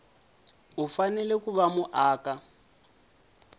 u fanele ku va muaka